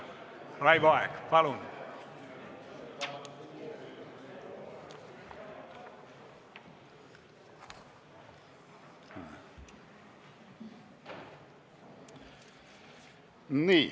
Raivo Aeg, palun!